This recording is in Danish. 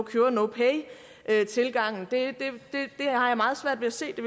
pay tilgangen det har jeg meget svært ved at se det